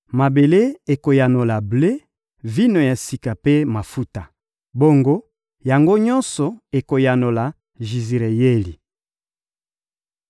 Mabele ekoyanola ble, vino ya sika mpe mafuta. Bongo, yango nyonso ekoyanola Jizireyeli.